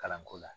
Kalanko la